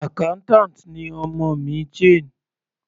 Accountant ni ọmọ mi, Jane.